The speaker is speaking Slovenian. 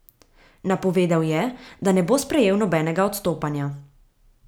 Napovedal je, da ne bo sprejel nobenega odstopanja.